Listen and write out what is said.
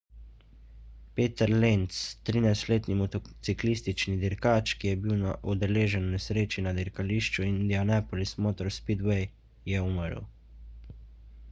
peter lenz 13-letni motociklistični dirkač ki je bil udeležen v nesreči na dirkališču indianapolis motor speedway je umrl